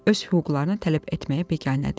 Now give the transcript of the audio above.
Öz hüquqlarını tələb etməyə biganədir.